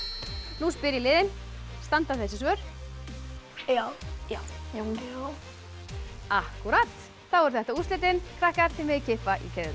nú spyr ég liðin standa þessi svör já já já akkúrat þá eru þetta úrslitin krakkar þið megið kippa í keðjurnar